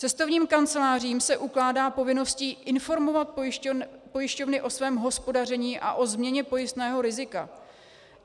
Cestovním kancelářím se ukládá povinnost informovat pojišťovny o svém hospodaření a o změně pojistného rizika.